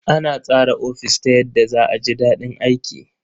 Ana tsara ofis ta yadda za a ji daɗin aiki.